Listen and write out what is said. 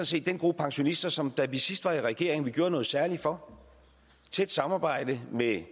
set den gruppe pensionister som da vi sidst var i regering gjorde noget særligt for i tæt samarbejde med